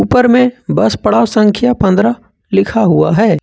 ऊपर में बस पड़ाव संख्या पंद्रह लिखा हुआ है।